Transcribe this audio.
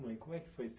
Mãe. Como é que foi ser